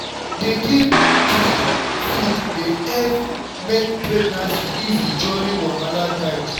to dey give good food dey help make pregnancy easy during wahala times.